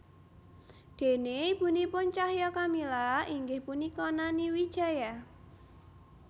Déné ibunipun Cahya Kamila inggih punika Nani Wijaya